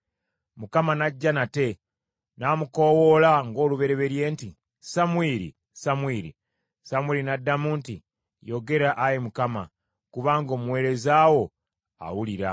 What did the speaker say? Mukama n’ajja nate, n’amukoowoola ng’olubereberye nti, “Samwiri! Samwiri!” Samwiri n’addamu nti, “Yogera, Ayi Mukama kubanga omuweereza wo awulira.”